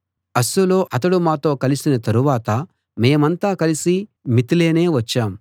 అస్సులో అతడు మాతో కలిసిన తరువాత మేమంతా కలిసి మితిలేనే వచ్చాం